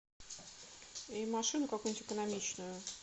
и машину какую нибудь экономичную